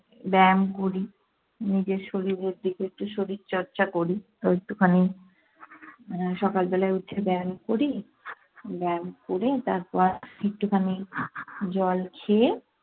ব্যায়াম করি। নিজের শরীরের দিকে একটু শরীরচর্চা করি। তো একটুখানি আহ সকালবেলায় উঠে ব্যায়াম করি। ব্যায়াম করে তারপর একটুখানি জল খেয়ে